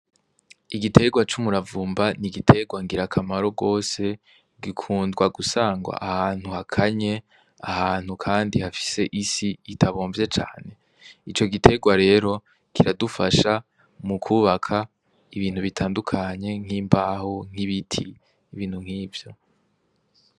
Igiterwa c'umuravumba ni igiterwa ngira akamaro rwose gikundwa gusangwa ahantu hakanye ahantu, kandi hafise isi itabomvye cane ico giterwa rero kiradufasha mu kwubaka ibintu bitandukanye nk'imbahu nk'ibiti ibintu nk'ivyo.